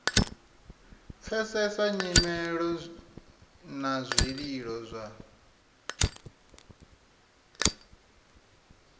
pfesesa nyimelo na zwililo zwa